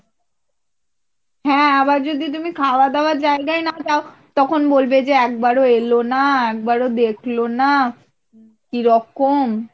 হ্যাঁ আবার যদি তুমি খাওয়া দাওয়ার জায়গায় না যাও তখন বলবে যে একবার ও এলোনা একবার ও দেখলো না কিরকম।